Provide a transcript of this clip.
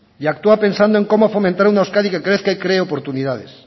y actúa pensando en cómo fomentar una euskadi que crezca y cree oportunidades